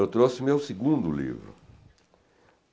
Eu trouxe meu segundo livro.